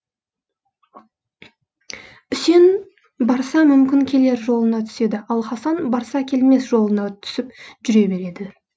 үсен барса мүмкін келер жолына түседі ал хасан барса келмес жолына түсіп жүре береді